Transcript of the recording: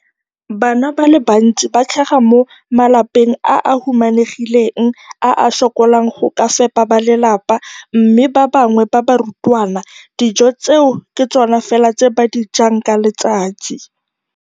Bana ba le bantsi ba tlhaga mo malapeng a a humanegileng a a sokolang go ka fepa ba lelapa mme ba bangwe ba barutwana, dijo tseo ke tsona fela tse ba di jang ka letsatsi.